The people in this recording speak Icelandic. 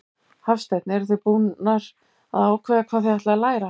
Hafsteinn: Eruð þið búnar að ákveða hvað þið ætlið að læra?